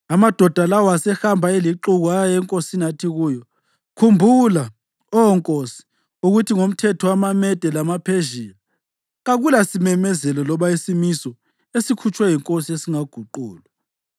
Amadoda lawo asehamba elixuku aya enkosini athi kuyo, “Khumbula, Oh nkosi, ukuthi ngomthetho wamaMede lamaPhezhiya kakulasimemezelo loba isimiso esikhutshwe yinkosi esingaguqulwa.”